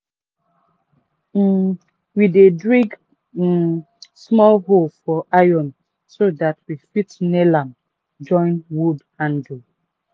um we dey drill um small hole for iron so dat we fit nail am join wood handle.